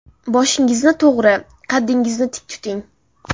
Boshingizni to‘g‘ri, qaddingizni tik tuting.